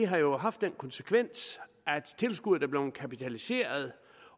har jo haft den konsekvens at tilskuddet er blevet kapitaliseret